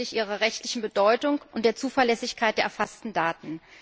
hinsichtlich ihrer rechtlichen Bedeutung und der Zuverlässigkeit der erfassten Daten.